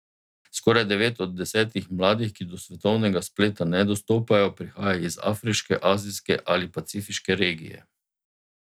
Skoraj devet od desetih mladih, ki do svetovnega spleta ne dostopajo, prihaja iz afriške, azijske ali pacifiške regije.